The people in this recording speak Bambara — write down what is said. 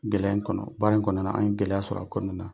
Gɛlɛya in kɔnɔ baara in kɔnɔna an ye gɛlɛya sɔrɔ a kɔnɔna na.